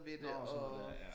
Nårh sådan noget dér ja